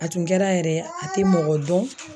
A tun kɛra yɛrɛ a te mɔgɔ dɔn